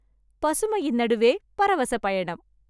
பசுமையின் நடுவே பரவச பயணம்